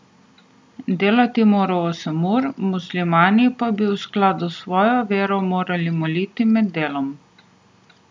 Delati mora osem ur, muslimani pa bi v skladu svojo vero morali moliti med delom.